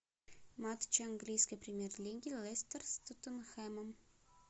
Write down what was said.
матч английской премьер лиги лестер с тоттенхэмом